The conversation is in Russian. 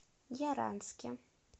яранске